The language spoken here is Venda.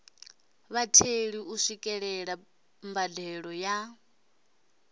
vhatheli u swikelela mbadelo ya